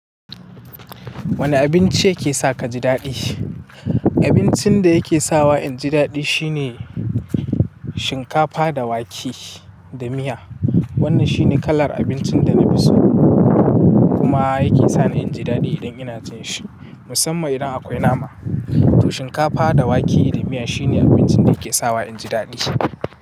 Wane abinci yake sa ka ji daɗi? Abincin da yake sawa in ji daɗi shine shinkafa da wake da miya. Wannan shine kalar abincin da na fi so kuma yake sani in ji daɗi idan ina cin shi, musamman idan akwai nama. To shinkafa da wake da miya shine abincin da yake sawa in ji daɗi.